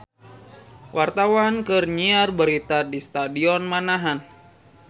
Wartawan keur nyiar berita di Stadion Manahan